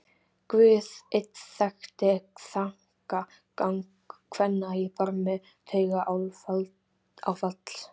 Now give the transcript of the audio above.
Guð einn þekkti þankagang kvenna á barmi taugaáfalls.